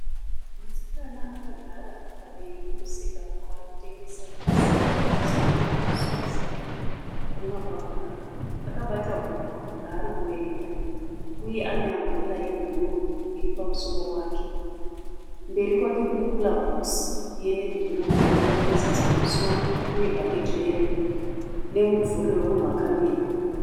Musikana akagara padivi pemusikana waari kutengesa zvakasiyana zvinosanganisira masiwitsi nemabhabhurigamu. Akabata nhuku raari kuverenga uye ane amburera yebhuruu iri pamusoro wake. Mberi kwake kune kurabhokisi yenevhi bhuruu ine mafuriziti pamusoro nebhaketi reyero nemumvuri wemunhu akamira.